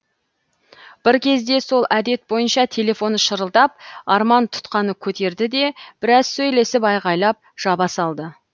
бір кезде сол әдет бойынша телефоны шырылдап арман тұтқаны көтерді де біраз сөйлесіп айғайлап жаба салды